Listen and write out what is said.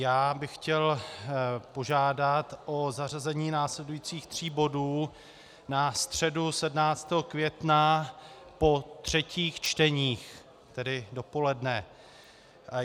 Já bych chtěl požádat o zařazení následujících tří bodů na středu 17. května po třetích čteních, tedy dopoledne.